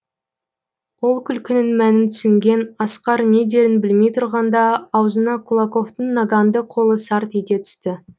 ол күлкінің мәнін түсінген асқар не дерін білмей тұрғанда аузына кулаковтың наганды қолы сарт ете түсті